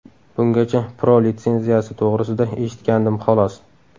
Bungacha Pro litsenziyasi to‘g‘risida eshitgandim, xolos.